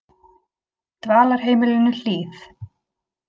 Dvalarheimilinu Hlíð